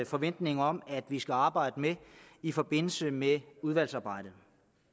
forventning om at vi skal arbejde med i forbindelse med udvalgsarbejdet